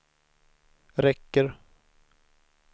räcker